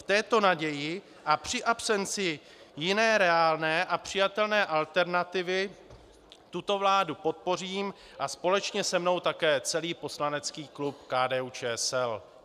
V této naději a při absenci jiné reálné a přijatelné alternativy tuto vládu podpořím a společně se mnou také celý poslanecký klub KDU-ČSL.